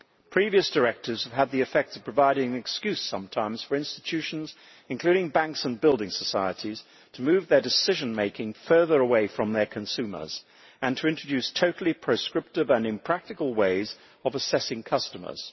Previous directives have had the effect of providing an excuse, sometimes, for institutions, including banks and building societies, to move their decision making further away from their consumers and to introduce totally proscriptive and impractical ways of assessing customers.